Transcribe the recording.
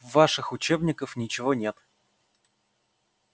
в ваших учебниках ничего нет